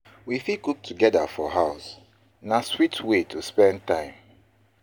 We fit cook together for house; na sweet way to spend time.